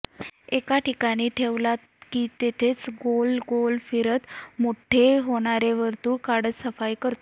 एका ठिकाणी ठेवला की तेथेच गोल गोल फिरत मोठे होणारी वर्तुळे काढत सफाई करतो